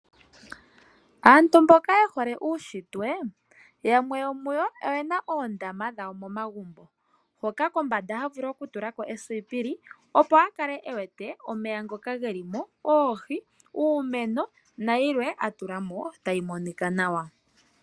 Aantu mboka ye hole uunshitwe yamwe yomuyo oye na oondama dhawo momagumbo. Mpoka kombanda ha vulu okutula ko esipili, opo a kale e wete omeya ngoka ge li mo, oohi, uumeno nayilwe a tula mo tayi monika nawa.